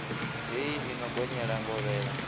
hei i no gonyela ngovhela